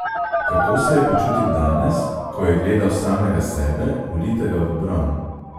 Kako se je počutil danes, ko je gledal samega sebe ulitega v bron?